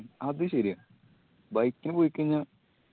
അത് ശെരിയാ bike ന് പോയി കയിഞ്ഞ